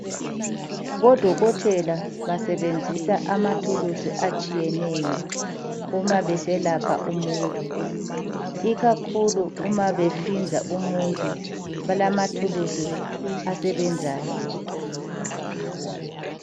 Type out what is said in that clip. Odokotela basebenzisa amathulusi atshiyeneyo uma beselapha umuntu ikakhulu uma behlinza umuntu balamathulusi asebenzayo.